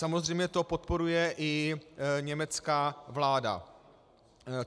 Samozřejmě to podporuje i německá vláda.